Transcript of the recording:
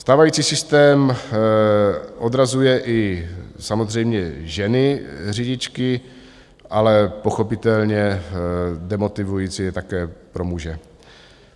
Stávající systém odrazuje i samozřejmě ženy řidičky, ale pochopitelně demotivující je také pro muže.